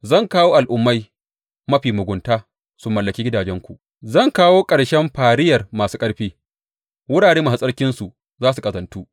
Zan kawo al’ummai mafi mugunta su mallaki gidajenku; zan kawo ƙarshen fariyar masu ƙarfi, Wurare Masu Tsarkinsu za su ƙazantu.